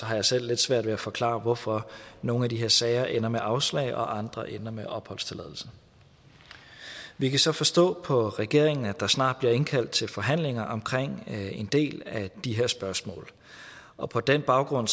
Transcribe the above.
har jeg selv lidt svært ved at forklare hvorfor nogle af de her sager ender med afslag og andre ender med opholdstilladelse vi kan så forstå på regeringen at der snart bliver indkaldt til forhandlinger om en del af de her spørgsmål og på den baggrund